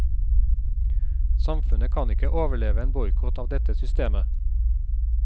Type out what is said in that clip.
Samfunnet kan ikke overleve en boikott av dette systemet.